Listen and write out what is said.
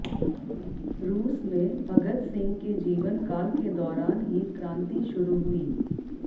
रूस में भगत सिंह के जीवन काल के दौरान ही क्रांति शुरू हुई